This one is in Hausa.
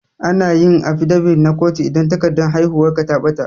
Anayin afidabit na kotu idan takardar haihuwar ka ta ɓata